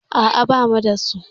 A'a, ba mu da su.